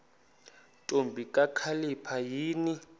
ntombi kakhalipha yini